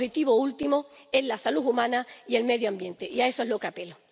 El objetivo último es la salud humana y el medio ambiente, y a eso es a lo que apelo.